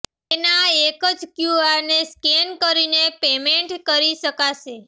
તેના એક જ ક્યૂઆરને સ્કેન કરીને પેમેન્ટ કરી શકાશે